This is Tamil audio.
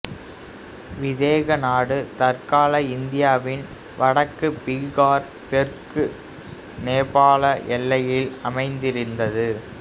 விதேக நாடு தற்கால இந்தியாவின் வடக்கு பிகார் தெற்கு நேபாள எல்லையில் அமைந்திருந்தது